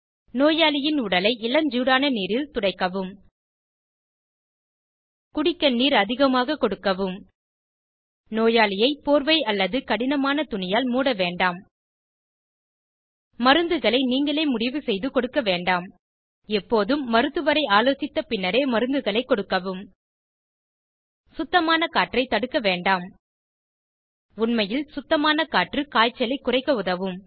நோயாளியின் உடலை இளஞ்சூடான நீரில் துடைக்கவும் குடிக்க நீர் அதிகமாக கொடுக்கவும் நோயாளியை போர்வை அல்லது கடினமான துணியால் மூட வேண்டாம் மருந்துகளை நீங்களே முடிவு செய்து கொடுக்க வேண்டாம் எப்போதும் மருத்துவரை ஆலோசித்த பின்னரே மருந்துகளைக் கொடுக்கவும் சுத்தமான காற்றை தடுக்க வேண்டாம் உண்மையில் சுத்தமான காற்று காய்ச்சலை குறைக்க உதவும்